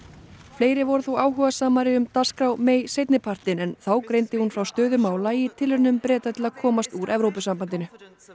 fleiri voru þó áhugasamari um dagskrá seinnipartinn en þá greindi hún frá stöðu mála í tilraunum Breta til að komast úr Evrópusambandinu